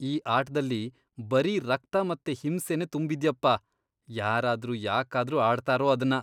ಈ ಆಟ್ದಲ್ಲಿ ಬರೀ ರಕ್ತ ಮತ್ತೆ ಹಿಂಸೆನೇ ತುಂಬಿದ್ಯಪ್ಪ. ಯಾರಾದ್ರೂ ಯಾಕಾದ್ರೂ ಆಡ್ತಾರೋ ಅದ್ನ?